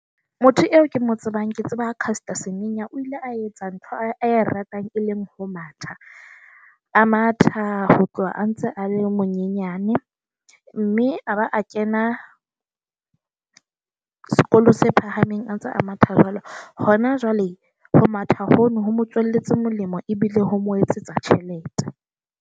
Motho eo ke mo tsebang ke tseba Caster Semenya. O ile a etsa ntho a e ratang, e leng ho matha. A matha ho tloha a ntse a le monyenyane mme a ba a kena sekolo se phahameng a ntse a matha jwalo. Hona jwale ho matha kgone ho mo tswaletswe molemo ebile ho mo etsetsa tjhelete.